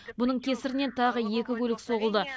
бұның кесірінен тағы екі көлік соғылды